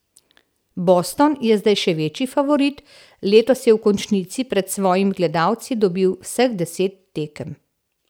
Boston je zdaj še večji favorit, letos je v končnici pred svojimi gledalci dobil vseh deset tekem.